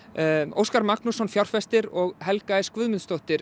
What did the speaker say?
Óskar Magnússon fjárfestir og Helga s Guðmundsdóttir